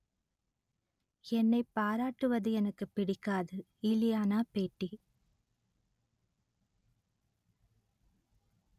என்னை பாராட்டுவது எனக்குப் பிடிக்காது இலியானா பேட்டி